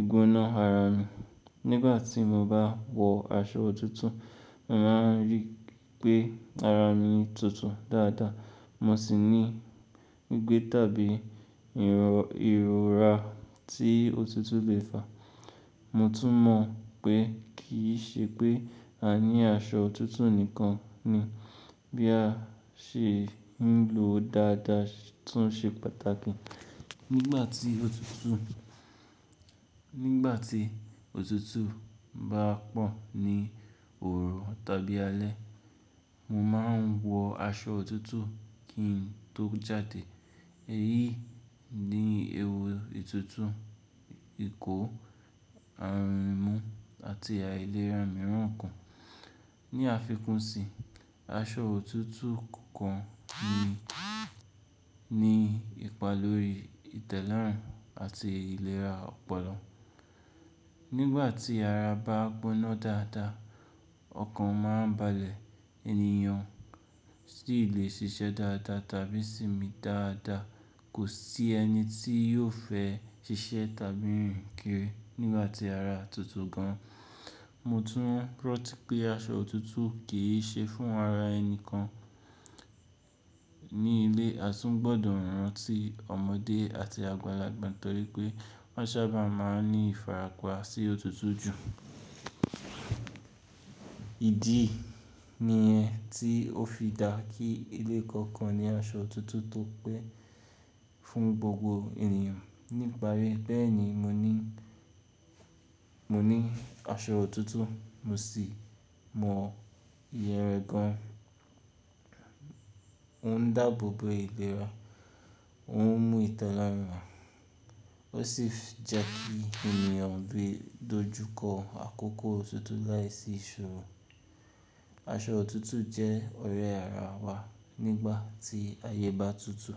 ìgúná ara mi. Nígbà tí mo bá wọ aṣọ òtútù, mo máa rí pé ara mi tutù dáadáa, mo sì ní gbígbé tàbí ìrora tí òtútù lè fà. Mo tún mọ̀ pé kì í ṣe pé à ní aṣọ òtútù nìkan ni, bí a ṣe ń lo ó dáadáa tún ṣe pàtàkì. Nígbà tí òtútù bá pọ̀ ní òòru tàbí alẹ́, mo máa ń wọ aṣọ òtútù kí n tó jáde. Èyí ni ewu ìtútù ìkó, àrùn imú àti àìlera mìíràn kan. Ni àfikún sì i, aṣọ òtútù kọ̀-- un, ni ìpa lọ́ri ìtẹ́lọ́rùn àti ìlera ọpọlọ. Nígbà tí ara bá gbóná dáadáa, ọkàn máa ń balẹ̀, ènìyàn sì lè ṣiṣẹ́ dáadáa tàbí sinmi dáadáa. Kò sí ẹni tí yóò fẹ́ ṣiṣẹ́ tàbí rìn kiri nígbà tí ara tutù gan. Mo tún rantí pé, aṣọ òtútù kì í ṣe fún ara ẹnìkan--, ní ilé--. A tún gbọdọ̀ rántí ọmọdé àti àgbàlagbà torí pé wọ́n sábà máa ń ní ìfarapa sí òtútù jù. Ìdí i---- Nìyẹn tí ó fi dá kí ilé kọ̀ọ̀kan ní aṣọ òtútù tó pẹ́, fún gbogbo ènìyàn ní ìparí e. Bẹ́ẹ̀ni mo ní, mo ni aṣọ òtútù, mo sì mọ iye rẹ̀ gan. Ó ń dáàbò bo ìlera, ó ń mú ìtẹ́ lara, ó sì fi jẹkí ènìyàn lè dojú kọ àkókò òtútù láìsí iṣoro. Aṣọ òtútù jẹ́ ọ̀rẹ́ ara wa, nígbà tí ayé bá tutù.